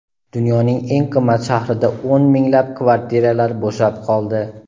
Dunyoning eng qimmat shahrida o‘n minglab kvartiralar bo‘shab qoldi.